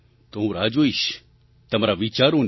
તો હું રાહ જોઈશ તમારા વિચારોની